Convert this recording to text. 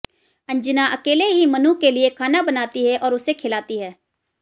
अंजना अकेले ही मनु के लिए खाना बनाती है और उसे खाना खिलाती है